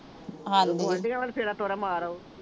ਹਾਂ ਜੀ, ਫੇਰ ਗੁਆਂਢੀਆਂ ਵੱਲ ਫੇਰਾ ਤੋਰਾ ਮਾਰ ਆਉ।